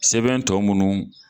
Sɛbɛn tɔ mununu